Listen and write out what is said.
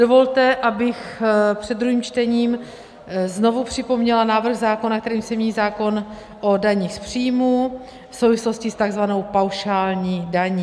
Dovolte, abych před druhým čtením znovu připomněla návrh zákona, kterým se mění zákon o daních z příjmů v souvislosti s tzv. paušální daní.